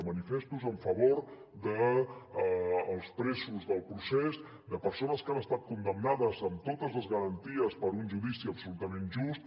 manifestos en favor dels presos del procés de persones que han estat condemnades amb totes les garanties per un judici absolutament just